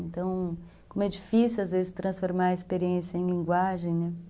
Então, como é difícil, às vezes, transformar a experiência em linguagem, né?